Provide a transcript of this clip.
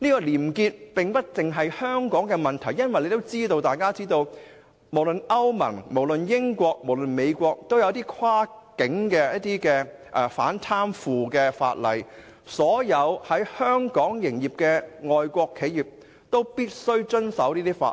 廉潔不獨是香港的關注，因為大家都知道，歐盟、英國及美國都訂有跨境的反貪腐法例，所有在香港營業的外國企業都必須遵守該等法例。